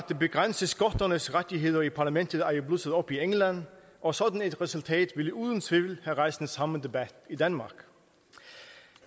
begrænse skotternes rettigheder i parlamentet er jo blusset op i england og sådan et resultat ville uden tvivl have rejst den samme debat i danmark